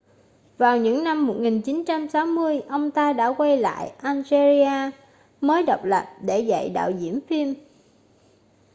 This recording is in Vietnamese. vào những năm 1960 ông ta đã quay lại algeria mới độc lập để dạy đạo diễn phim